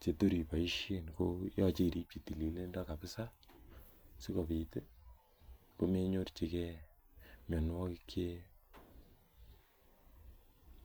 chetor iboisien koyoche iripchi tililindo kabsa sikopit ii komenyorchikee mianwogik chee